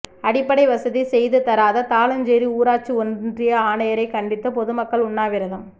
அடிப்படை வசதி செய்து தராத தாழஞ்சேரி ஊராட்சி ஒன்றிய ஆணையரை கண்டித்து பொதுமக்கள் உண்ணாவிரதம்